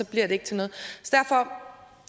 bliver det ikke til noget